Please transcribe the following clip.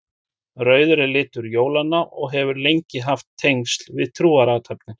Rauður er litur jólanna og hefur lengi haft tengsl við trúarathafnir.